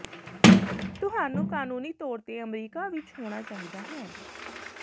ਤੁਹਾਨੂੰ ਕਾਨੂੰਨੀ ਤੌਰ ਤੇ ਅਮਰੀਕਾ ਵਿਚ ਹੋਣਾ ਚਾਹੀਦਾ ਹੈ